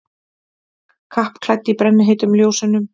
Kappklædd í brennheitum ljósunum.